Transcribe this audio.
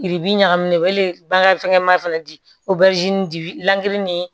Yiri bi ɲagamin ne bakan ma fɛnɛ di dila ni